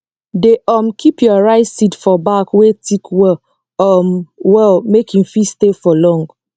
dey um keep your rice seed for bag wey thick well um well make e fit stay for long